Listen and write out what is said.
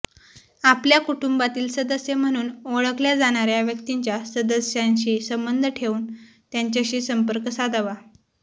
आपल्या कुटुंबातील सदस्य म्हणून ओळखल्या जाणाऱ्या व्यक्तीच्या सदस्यांशी संबंध ठेवून त्यांच्याशी संपर्क साधावा